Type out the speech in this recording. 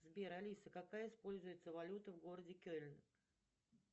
сбер алиса какая используется валюта в городе кельн